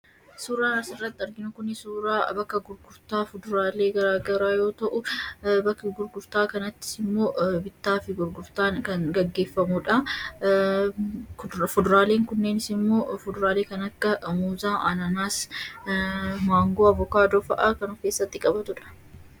Suuraan asirratti arginu kun suuraa bakka gurgurtaa fuduraalee garaa garaa yoo ta'u, bakka gurgurtaa kanattis immoo bittaa fi gurgurtaan kan gaggeeffamudha. Fuduraaleen kunneenis: maangoo, abukaadoo, muuzaa, anaanaasii fa'a kan of keessatti qabatudha.